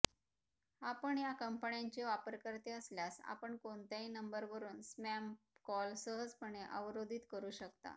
आपण या कंपन्यांचे वापरकर्ते असल्यास आपण कोणत्याही नंबरवरून स्पॅम कॉल सहजपणे अवरोधित करू शकता